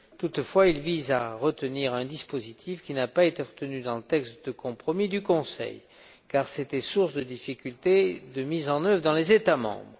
Toutefois, il vise à adopter un dispositif qui n'a pas été retenu dans le texte de compromis du Conseil, car il était source de difficultés de mise en œuvre dans les États membres.